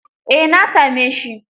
Eh, na same shi.